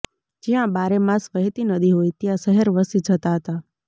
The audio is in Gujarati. જ્યાં બારેમાસ વહેતી નદી હોય ત્યાં શહેર વસી જતાં હતાં